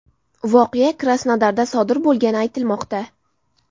Voqea Krasnodarda sodir bo‘lgani aytilmoqda.